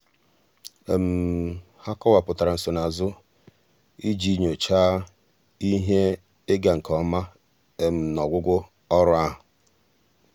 há um kọ́wàpụ̀tárà nsonaazụ iji um nyòcháá ihe um ịga nke ọma n’ọ́gwụ́gwụ́ ọ́rụ́ ahụ́.